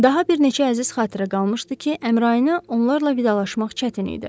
Daha bir neçə əziz xatirə qalmışdı ki, Əmrayinə onlarla vidalaşmaq çətin idi.